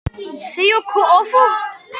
Ég verð að ná tali af Garðari.